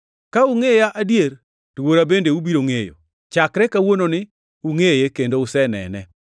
Ka ungʼeya adier, to Wuora bende ubiro ngʼeyo. Chakre kawuononi ungʼeye kendo usenene.”